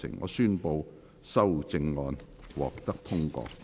我宣布修正案獲得通過。